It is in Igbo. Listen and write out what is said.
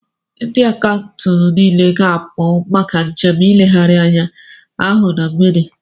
Ndị Akaụntụ niile ga-apụ maka njem ileghari anya ahụ na mgbede